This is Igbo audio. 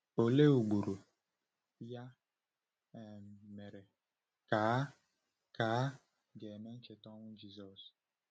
Olee ugboro, ya um mere, ka a ka a ga-eme ncheta ọnwụ Jisọs?